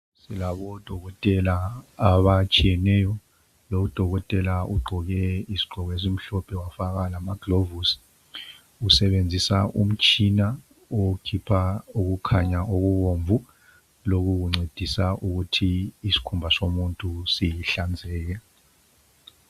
Silabo dokotela abatshiyeneyo, lo udokotela ugqoke isigqoko esimhlophe wafaka lama gilovisi, usebenzisa umtshina okhipha okukhanya okubomvu lokhu kuncedisa ukuthi isikhumba somuntu sihlanzeke.